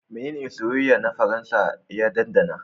Menene soyayyen na Faransa ya ɗanɗana?